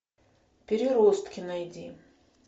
переростки найди